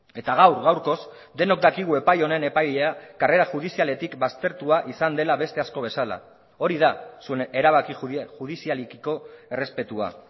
eta gaur gaurkoz denok dakigu epai honen epailea karrera judizialetik baztertua izan dela beste asko bezala hori da zuen erabaki judizialekiko errespetua